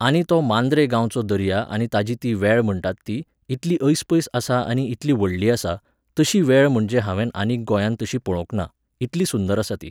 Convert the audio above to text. आनी तो मांद्रे गांवचो दर्या आनी ताची ती वॅळ म्हणटात ती, इतली ऐसपैस आसा आनी इतली व्हडली आसा, तशी वॅळ म्हणजे हांवेन आनीक गोंयात तशी पळोंवक ना, इतली सुंदर आसा ती.